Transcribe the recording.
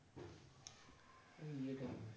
,